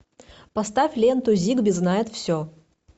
поставь ленту зигби знает все